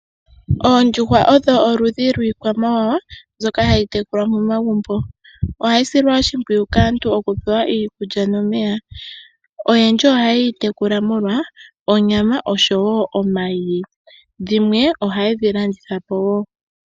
Oondjuhwa odho oludhi lwiikwamawawa mbyoka hayi tekulwa momagumbo, ohayi silwa oshipwiyu kaantu okupewa iikulya nomeya, oyendji oha yeyi tekula molwa onyama oshowo omayi, dhimwe ohaye dhi landitha po wo.